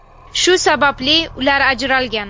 Shu sababli ular ajralgan.